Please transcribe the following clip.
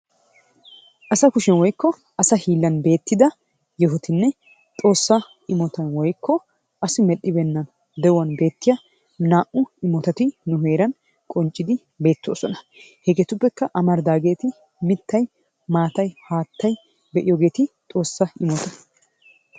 asa kushyan woykko asa hiilan beetida yohitinne xoosa immotan woykko asi medhibeenna de'uwan beetiya naa'u immotati ne heeran qonccidi beetooosona. hegeetuppe amaridaageeti mitay maatay haattay be'iyoogeeti xoossa immota.